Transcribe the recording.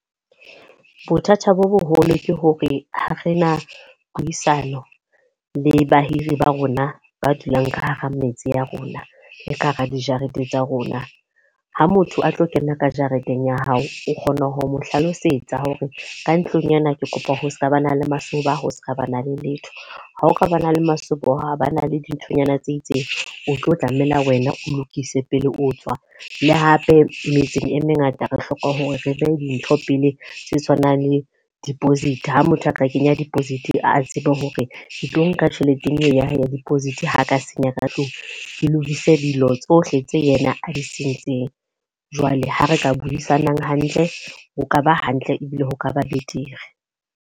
Bothata bo boholo ke hore ha re na puisano le bahiri ba rona ba dulang ka hara metse ya rona, le ka hara dijarete tsa rona. Ha motho a tlo kena ka jareteng ya hao, o kgona ho mo hlalosetsa hore ka ntlong ena ke kopa ho seka ba na le masoba, ho seke ha ba na le letho. Ha o ka ba na le masoba hore ha ba na le dinthonyana tse itseng, o tlo tlameha wena o lokise pele o tswa. Le hape metseng e mengata re hloka hore re be dintho pele tse tshwanang le deposit. Ha motho a ka kenya deposit a tsebe hore ke tlo nka tjheleteng eo ya hae ya deposit ha ka senya ka tlung. Ke lokise dilo tsohle tse yena a di sentseng. Jwale ha re ka buisanang hantle, ho ka ba hantle ebile ho kaba betere.